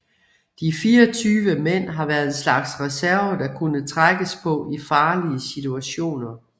De 24 mand har været en slags reserve der kunne trækkes på i farlige situationer